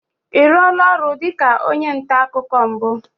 Ị rụọla ọrụ dịka onye nta akụkọ mbụ?